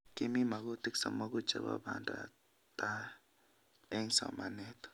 Kimii mogutik somogu chebo pandaptai eng somanet